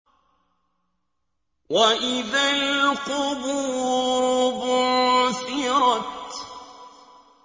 وَإِذَا الْقُبُورُ بُعْثِرَتْ